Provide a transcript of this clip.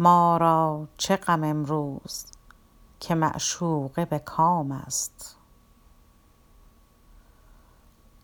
ما را چه غم امروز که معشوقه به کام است